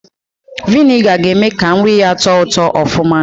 Viniga ga-eme ka nri yaa tọọ ụtọ ọfụma